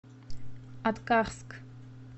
аткарск